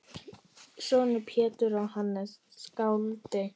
Sonur Péturs er Hannes skáld.